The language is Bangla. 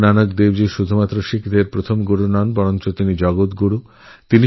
গুরু নানকশুধু শিখ সম্প্রদায়ের প্রথম গুরুই নন তিনি জগদ্গুরু